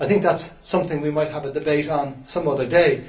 I think that is something we might have a debate on some other day.